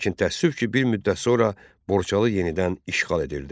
Lakin təəssüf ki, bir müddət sonra Borçalı yenidən işğal edildi.